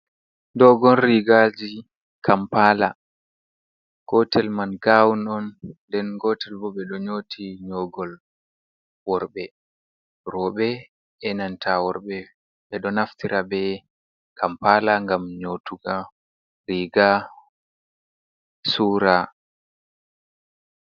Dogon rigaji kampala gotel man gawun on nden gotel bo ɓeɗo nyooti nyogol worɓe. Roɓe e'nanta worɓe ɓeɗo naftira be kampala ngam nyootuga riga sura.